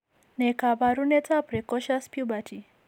Ne kaabarunetap Precocious puberty?